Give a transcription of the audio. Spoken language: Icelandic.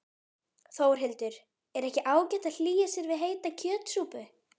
Þórhildur: Er ekki ágætt að hlýja sér við heita kjötsúpu?